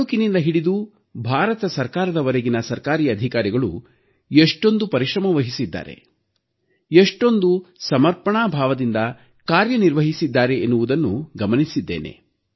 ತಾಲೂಕಿನಿಂದ ಹಿಡಿದು ಕೇಂದ್ರ ಸರ್ಕಾರದವರೆಗಿನ ಸರ್ಕಾರಿ ಅಧಿಕಾರಿಗಳು ಎಷ್ಟೊಂದು ಪರಿಶ್ರಮವಹಿಸಿದ್ದಾರೆ ಎಷ್ಟೊಂದು ಸಮರ್ಪಣಾ ಭಾವದಿಂದ ಕಾರ್ಯನಿರ್ವಹಿಸಿದ್ದಾರೆ ಎನ್ನುವುದನ್ನು ಗಮನಿಸಿದ್ದೇನೆ